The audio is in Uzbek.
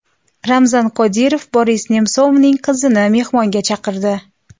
Ramzan Qodirov Boris Nemsovning qizini mehmonga chaqirdi.